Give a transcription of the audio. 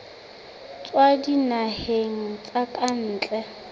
tswa dinaheng tsa ka ntle